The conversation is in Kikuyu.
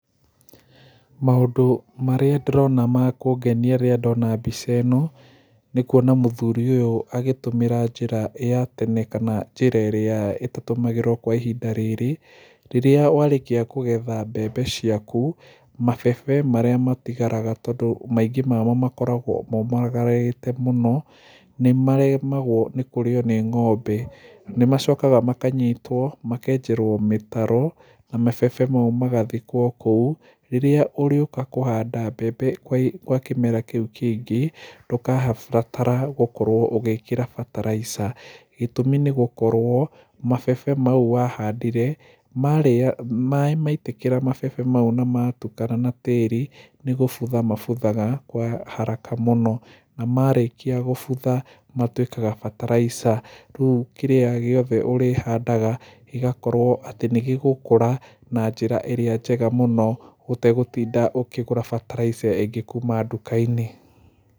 Maũndũ marĩa ndĩrona makũngenia rĩrĩa ndona mbica ĩno, nĩ kuona mũthuri ũyũ agĩtũmĩra njĩra ya tene kana njĩra ĩrĩa ĩtatũmagĩrwo kwa ihinda rĩrĩ, rĩrĩa warĩkia kũgetha mbembe ciaku, mabebe marĩa matigaraga tondũ kaingĩ wamo makoragwo momagarĩte mũno, nĩ maremagwo kũrĩo nĩ ng'ombe. Nĩ macokaga makanyitwo, makenjerwo mĩtaro, na mabebe mau magathikwo kou, rĩrĩa ũrĩũka kũhanda mbembe gwa kĩmera kĩũ kĩngĩ ndũgabatara gũkorwo ũgĩkĩra bataraitha. Gĩtũmi nĩ gũkorwo mabebe mau wahandire, maitĩkĩra mabebe mau na matukana na tĩri, nĩ gũbutha mabuthaga gwa haraka mũno, na marĩkia gũbutha, matuĩkaga bataraitha, rĩu kĩrĩa gĩothe ũrĩhandaga, gĩgakorwo atĩ nĩ gĩgũkũra na njĩra ĩrĩa njega mũno ũtegũtinda ũkĩgũra bataraitha ĩngĩ kuma nduka-inĩ.